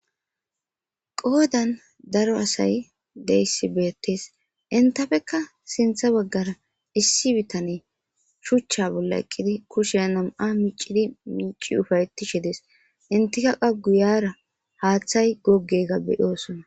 Qodan daro asay betes intapeka issi bitaney shucha bolla eqidi kushay na'a micidi lothi upayetishe de's initika qa guyara hathay gogega betosona